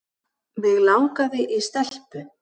Mig langaði í stelpu.